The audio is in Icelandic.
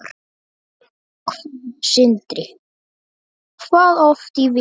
Sindri: Hvað oft í viku?